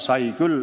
Sai ikka küll.